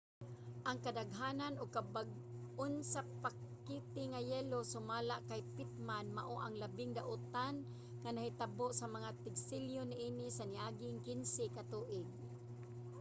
ang kadaghan ug kabag-on sa pakete nga yelo sumala kay pittman mao ang labing daotan nga nahitabo sa mga tig-selyo niini sa niaging 15 ka tuig